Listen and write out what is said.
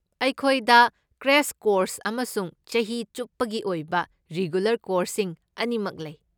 ꯑꯩꯈꯣꯏꯗ crash course ꯑꯃꯁꯨꯡ ꯆꯍꯤ ꯆꯨꯞꯄꯒꯤ ꯑꯣꯏꯕ ꯔꯤꯒꯨꯂꯔ ꯀꯣꯔꯁꯁꯤꯡ ꯑꯅꯤꯃꯛ ꯂꯩ꯫